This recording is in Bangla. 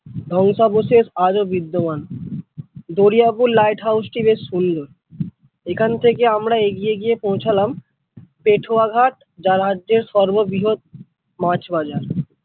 ধ্বংসাবশেষ আজও বিদ্যমান দরিয়া পুর lighthouse টি বেশ সুন্দর এখান থেকে আমরা এগিয়ে গিয়ে পৌঁছলাম পেটুয়াঘাট যা রাজ্যের সর্ববৃহৎ মাছ বাজার।